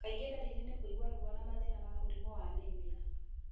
Kaingĩ ndariri nĩ kũigua ruo na mathina ma mũrimũ wa anaemia